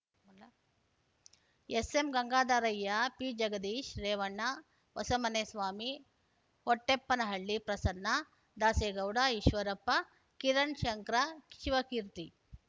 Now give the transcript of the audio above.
ಎಸ್‌ಎಂಗಂಗಾಧರಯ್ಯ ಪಿಜಗದೀಶ್‌ Revanna ಹೊಸಮನೆಸ್ವಾಮಿ Hotteppanahalli Prasanna Dasegowda Eshwarappa ಕಿರಣ್‌ಶಂಕರ Shivakeerthi